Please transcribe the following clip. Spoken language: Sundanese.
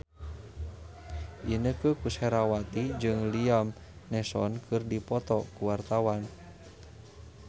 Inneke Koesherawati jeung Liam Neeson keur dipoto ku wartawan